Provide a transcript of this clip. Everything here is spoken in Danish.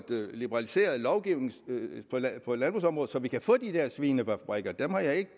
liberaliseret lovgivningen på landbrugsområdet så vi kan få de der svinefabrikker det har jeg